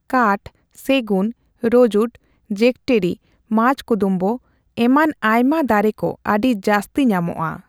ᱠᱟᱴᱷ, ᱥᱮᱜᱩᱱ, ᱨᱚᱡᱩᱰ, ᱡᱮᱠᱴᱤᱨᱤ, ᱢᱟᱡᱠᱫᱩᱢᱵᱩ ᱮᱢᱟᱱ ᱟᱭᱢᱟ ᱫᱟᱨᱮ ᱠᱩ ᱟᱹᱰᱤ ᱡᱟᱹᱥᱛᱤ ᱧᱟᱢᱚᱜᱼᱟ ᱾